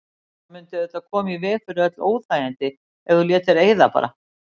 Það mundi auðvitað koma í veg fyrir öll óþægindi ef þú létir eyða bara.